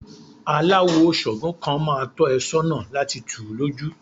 Aláwò ṣàǹgó kan máa tọ́ ẹ sọ́nà lati tù ú lójú.